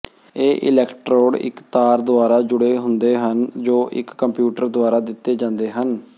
ਇਹ ਇਲੈਕਟ੍ਰੋਡ ਇੱਕ ਤਾਰ ਦੁਆਰਾ ਜੁੜੇ ਹੁੰਦੇ ਹਨ ਜੋ ਇੱਕ ਕੰਪਿਊਟਰ ਦੁਆਰਾ ਦਿੱਤੇ ਜਾਂਦੇ ਹਨ